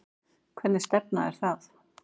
Hvernig stefna er það?